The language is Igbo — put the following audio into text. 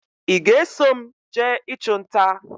Ị ga-eso m jee ị chụ nta?